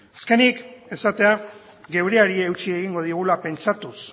azkenik esatea geureari eutsi egingo diogula pentsatuz